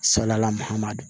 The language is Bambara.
Salayala mahaman don